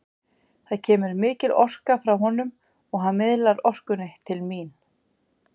Það kemur mikil orka frá honum og hann miðlar orkunni til mín.